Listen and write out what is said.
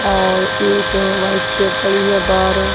और एक white shirt पड़ी है बाहर--